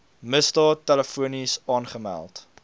misdaad telefonies aangemeld